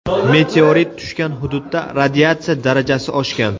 Meteorit tushgan hududda radiatsiya darajasi oshgan.